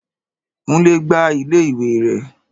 Kúnlé gbá iléèwé rẹ̀